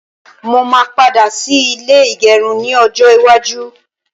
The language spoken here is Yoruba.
Mó máa padà ṣí ilé ìgẹrun ni ọjọ́ iwájú